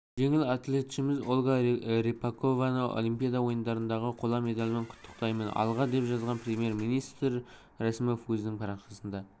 жеңіл атлетшіміз ольга рыпакованы олимпиада ойындарындағы қола медалімен құттықтаймын алға деп жазған премьер-министрә мәсімов өзінің парақшасында